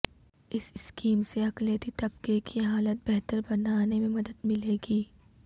اس scheme سے اقلیتی طبقہ کی حالت بہتر بنانے میں مدد ملے گی